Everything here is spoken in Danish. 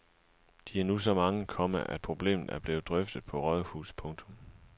De er nu så mange, komma at problemet er blevet drøftet på rådhuset. punktum